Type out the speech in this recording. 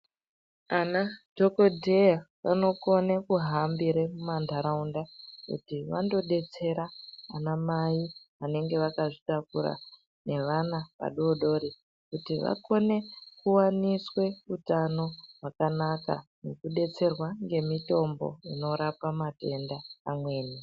Ana dhokodheya vanokone kuhambire mantaraunda kuti vandodetsera ana mai vanenge vakazvitakura nevana vadodori kuti vakone kuwaniswa utano hwakanaka nekudetserwa nemitombo inorapa matenda amweni.